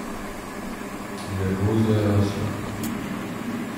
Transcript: Nervoza je rasla.